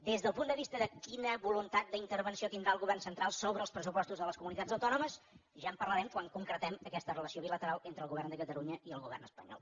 des del punt de vista de quina voluntat d’intervenció tindrà el govern central sobre els pressupostos de les comunitats autònomes ja en parlarem quan concretem aquesta relació bilateral entre el govern de catalunya i el govern espanyol